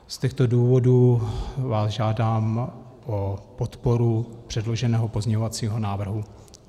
Z těchto důvodů vás žádám o podporu předloženého pozměňovacího návrhu.